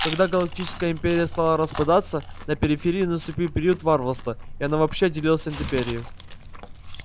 когда галактическая империя стала распадаться на периферии наступил период варварства и она вообще отделилась от империи